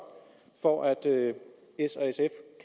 for at s